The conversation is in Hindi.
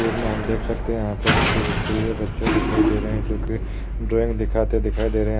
तस्वीर में हम देख सकते हैं। यहाँ पर कुछ स्कूल के बच्चे दिखाई दे रहे हैं जोकि ड्राइंग दिखाते दिखाई दे रहे हैं।